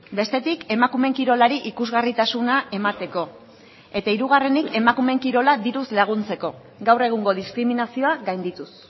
bestetik emakumeen kirolari ikusgarritasuna emateko eta hirugarrenik emakumeen kirola diruz laguntzeko gaur egungo diskriminazioa gaindituz